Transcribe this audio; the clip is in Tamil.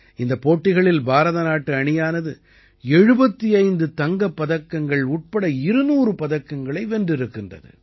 இந்தப் போட்டிகளில் பாரத நாட்டு அணியானது 75 தங்கப் பதக்கங்கள் உட்பட 200 பதக்கங்களை வென்றிருக்கிறது